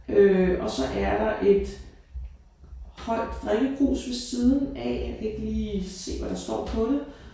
Øh og så er der et højt drikkekrus ved siden af. Jeg kan ikke lige se hvad der står på det